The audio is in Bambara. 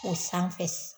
O sanfɛ